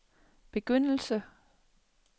begyndelse